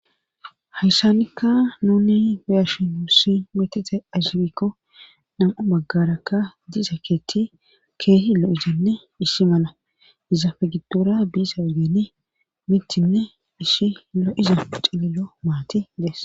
hayssanikka nuni woyashi n uusi metite asibikko nam7u maggarakka dize keeti keehi llo izenne issi mala izafe giddora biisa wegene mittinne ishi illo izau cililo maati dees